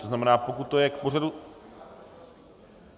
To znamená, pokud to je k pořadu...